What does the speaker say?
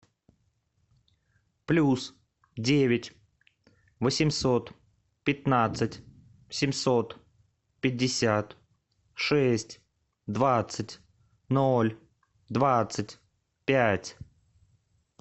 плюс девять восемьсот пятнадцать семьсот пятьдесят шесть двадцать ноль двадцать пять